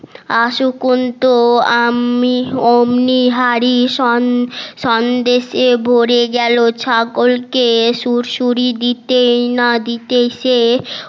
আমি ওমনি হাড়ি সন্দেশে ভরে গেলো ছাগল কে সুড়সুড়ি দিতে না দিতেই সে